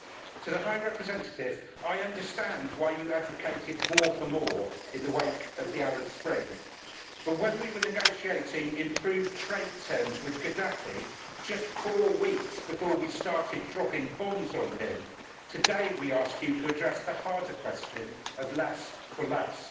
To the High Representative I understand why you advocated more for more' in the wake of the Arab Spring, but we were negotiating improved trade terms with Gaddafi just four weeks before we started dropping bombs on him. Today we ask you to address the harder question of less for less'.